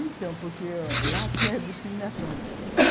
Então, porque lá tinha discriminação.